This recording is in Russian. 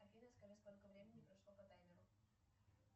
афина скажи сколько времени прошло по таймеру